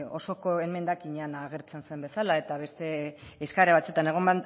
osoko emendakinean agertzen zen bezala eta beste eskaera batzuetan egon